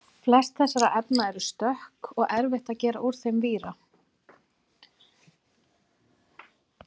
flest þessara efna eru stökk og erfitt að gera úr þeim víra